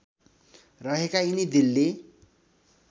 रहेका यिनी दिल्ली